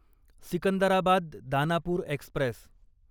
Secunderabad Danapur Express